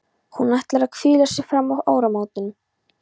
Hún ætlar að hvíla sig fram að áramótum.